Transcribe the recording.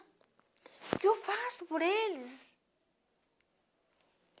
O que que eu faço por eles?